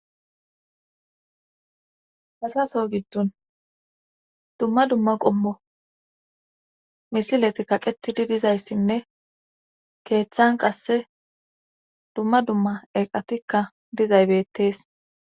hasaso giddun dumma dumma qommo misileti kaqetidi dizayssinne keeththan qasse dumma dumma eqatikka dizaybettees